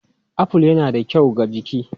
Aful yana da kyau ga jiki.